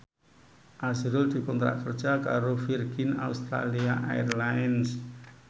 azrul dikontrak kerja karo Virgin Australia Airlines